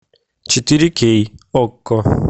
четыре кей окко